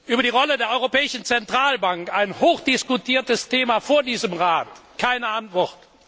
Über die Rolle der Europäischen Zentralbank ein hochdiskutiertes Thema vor diesem Rat keine Antwort.